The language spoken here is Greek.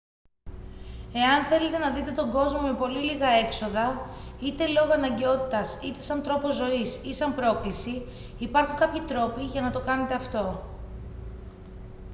εάν θέλετε να δείτε τον κόσμο με πολύ λίγα έξοδα είτε λόγω αναγκαιότητας είτε σαν τρόπο ζωής ή σαν πρόκληση υπάρχουν κάποιοι τρόποι για να το κάνετε αυτό